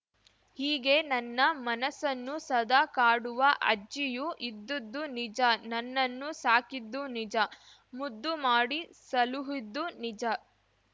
ಹೀಗೆ ನನ್ನ ಮನಸ್ಸನ್ನು ಸದಾ ಕಾಡುವ ಅಜ್ಜಿಯು ಇದ್ದುದ್ದೂ ನಿಜ ನನ್ನನ್ನು ಸಾಕಿದ್ದೂ ನಿಜ ಮುದ್ದು ಮಾಡಿ ಸಲುಹಿದ್ದೂ ನಿಜ